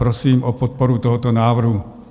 Prosím o podporu tohoto návrhu.